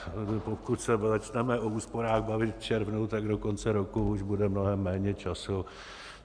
Pokud se začneme o úsporách bavit v červnu, tak do konce roku už bude mnohem méně času.